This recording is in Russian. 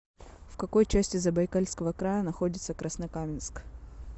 в какой части забайкальского края находится краснокаменск